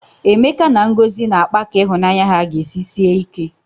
Emeka na Ngozi na-akpa ka ịhụnanya ha ga-esi sie ike.